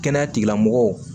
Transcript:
Kɛnɛya tigilamɔgɔw